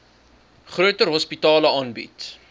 groter hospitale aangebied